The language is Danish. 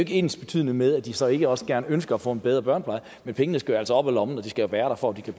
ensbetydende med at de så ikke også ønsker at få en bedre børnepleje men pengene skal jo altså op af lommen og de skal jo være der for